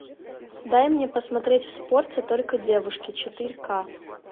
дай мне посмотреть в спорте только девушки четыре ка